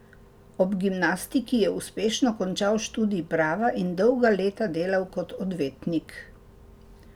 Ob gimnastiki je uspešno končal študij prava in dolga leta delal kot odvetnik.